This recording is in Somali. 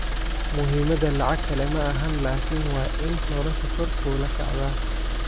Muhimadha lacag kale maaxan lakin waa in noloshu kor kuula kactaaa.